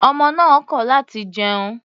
Ọmọ náà kọ láti jẹun.